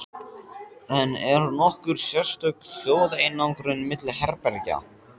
En er nokkur sérstök hljóðeinangrun milli herbergja?